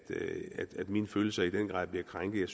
mine følelser i den grad bliver krænket